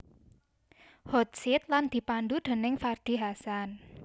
Hot Seat lan dipandhu déning Ferdy Hassan